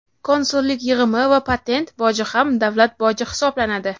Konsullik yig‘imi va patent boji ham davlat boji hisoblanadi.